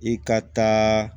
I ka taa